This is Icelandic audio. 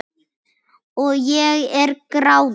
Og ég er gráðug.